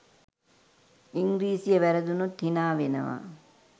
ඉංග්‍රීසිය වැරදුනොත් හිනාවෙනවා